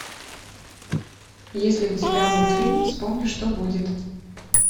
есть ли у тебя мультфильм вспомни что будет